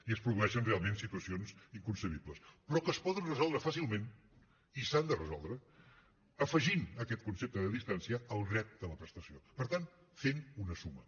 i es produeixen realment situacions inconcebibles però que es poden resoldre fàcilment i s’han de resoldre afegint aquest concepte de distància al dret a la prestació per tant fent una suma